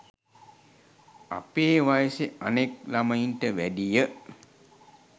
අපේ වයසෙ අනෙක් ළමයින්ට වැඩිය